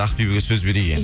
ақбибіге сөз берейік енді